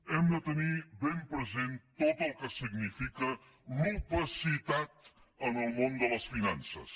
hem de tenir ben present tot el que significa l’opacitat en el món de les finances